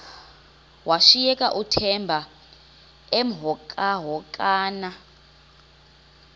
washiyeka uthemba emhokamhokana